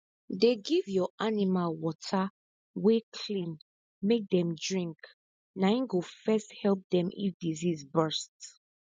dey give your animal water wey clean make dem drink na e go first help dem if disease bust